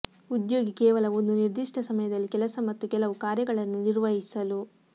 ಉದ್ಯೋಗಿ ಕೇವಲ ಒಂದು ನಿರ್ದಿಷ್ಟ ಸಮಯದಲ್ಲಿ ಕೆಲಸ ಮತ್ತು ಕೆಲವು ಕಾರ್ಯಗಳನ್ನು ನಿರ್ವಹಿಸಲು